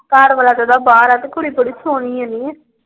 ਘਰ ਵਾਲਾ ਤੇ ਓਹਦਾ ਬਾਹਰ ਆ ਤੇ ਕੁੜੀ ਬੜੀ ਸੋਹਣੀ ਆ ਨੀ।